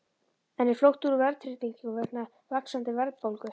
En er flótti úr verðtryggingu vegna vaxandi verðbólgu?